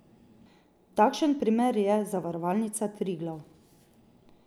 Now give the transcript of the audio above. Takšen primer je Zavarovalnica Triglav.